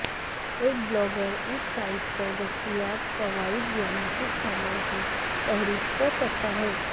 ایک بلاگر اس سائٹ پر دستیاب فوائد یا مفت سامان کی فہرست کرسکتا ہے